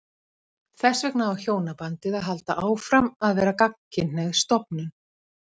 Þess vegna á hjónabandið að halda áfram að vera gagnkynhneigð stofnun.